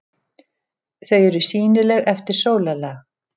Þau eru sýnileg eftir sólarlag.